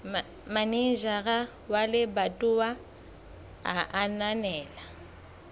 manejara wa lebatowa a ananela